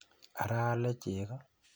Ara aale cheko?